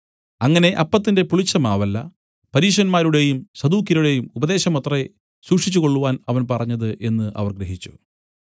അങ്ങനെ അപ്പത്തിന്റെ പുളിച്ച മാവല്ല പരീശന്മാരുടെയും സദൂക്യരുടെയും ഉപദേശമത്രേ സൂക്ഷിച്ചുകൊള്ളുവാൻ അവൻ പറഞ്ഞത് എന്നു അവർ ഗ്രഹിച്ചു